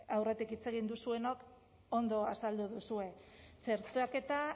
aurretik hitz egin duzuenok ondo azaldu duzue txertaketa